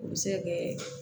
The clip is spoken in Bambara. O bɛ se ka kɛ